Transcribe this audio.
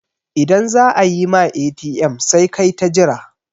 idan za a yi ma ATM sai kai ta Jira